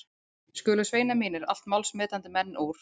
Skulu sveinar mínir, allt málsmetandi menn úr